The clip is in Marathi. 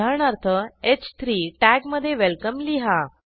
उदाहरणार्थh3 टॅगमधे वेलकम लिहा